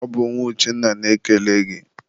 ọ bụ nwa Uchenna na-ekele gị.